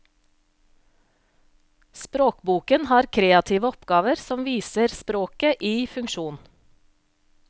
Språkboken har kreative oppgaver som viser språket i funksjon.